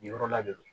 Nin yɔrɔ la de